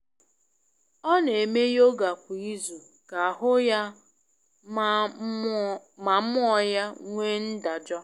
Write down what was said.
Ọ n'eme yoga kwa izu ka ahụ ya ma mmuo ya nwee ndajọ